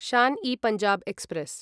Shan e Punjab express